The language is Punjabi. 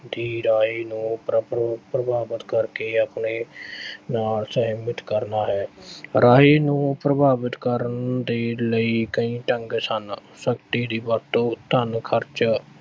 ਦੀ ਰਾਏ ਨੂੰ ਪ੍ਰਭ ਅਹ ਪ੍ਰਭਾਵਿਤ ਕਰਕੇ ਆਪਣੇ ਨਾਲ ਸਹਿਮਤ ਕਰਨਾ ਹੈ, ਰਾਏ ਨੂੰ ਪ੍ਰਭਾਵਿਤ ਕਰਨ ਦੇ ਲਈ ਕਈ ਢੰਗ ਸਨ ਸ਼ਕਤੀ ਦੀ ਵਰਤੋਂ, ਧਨ ਖਰਚਾ